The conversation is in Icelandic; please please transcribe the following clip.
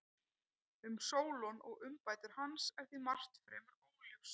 Um Sólon og umbætur hans er því margt fremur óljóst.